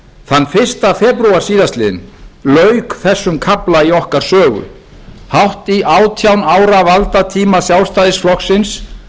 þann fyrsta febrúar síðastliðinn lauk erum kafla í okkar sögu hátt í átján ára valdatíma sjálfstæðisflokksins